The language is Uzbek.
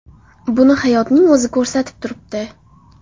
Buni hayotning o‘zi ko‘rsatib turibdi.